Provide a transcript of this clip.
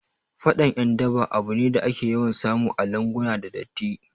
Faɗan ƴan daba abu ne da ake yawan samu a lunguna da datti